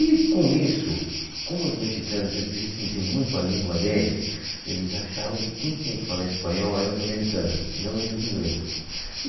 E com isso, como os mexicanos, eles restringiam muito a língua deles, eles achavam que quem tinha que falar espanhol eram os americanos e não eles inglês. E